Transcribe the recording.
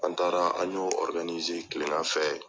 An taara an y'o kile fɛ.